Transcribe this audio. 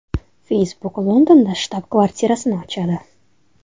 Facebook Londonda shtab-kvartirasini ochadi.